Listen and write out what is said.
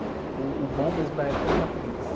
Uh, o bom mesmo da época eram os apelidos.